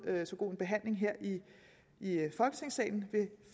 så god en behandling her i folketingssalen ved